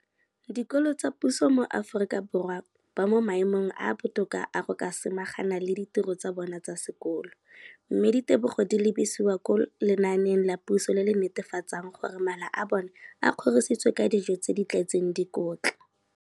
dikolo tsa puso mo Aforika Borwa ba mo maemong a a botoka a go ka samagana le ditiro tsa bona tsa sekolo, mme ditebogo di lebisiwa kwa lenaaneng la puso le le netefatsang gore mala a bona a kgorisitswe ka dijo tse di tletseng dikotla.